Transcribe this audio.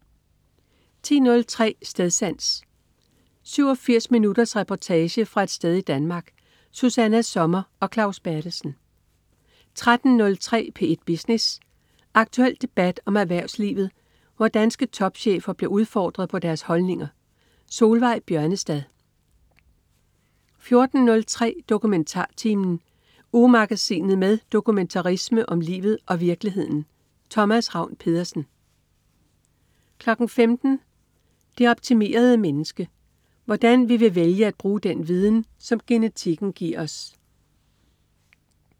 10.03 Stedsans. 87 minutters reportage fra et sted i Danmark. Susanna Sommer og Claus Berthelsen 13.03 P1 Business. Aktuel debat om erhvervslivet, hvor danske topchefer bliver udfordret på deres holdninger. Solveig Bjørnestad 14.03 DokumentarTimen. Ugemagasinet med dokumentarisme om livet og virkeligheden. Thomas Ravn-Pedersen 15.00 Det optimerede menneske. Hvordan vi vil vælge at bruge den viden, som genetikken giver os